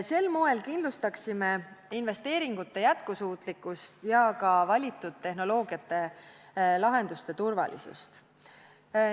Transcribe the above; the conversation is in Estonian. Sel moel kindlustaksime investeeringute jätkusuutlikkust ja ka valitud tehnoloogiate lahenduste turvalisust.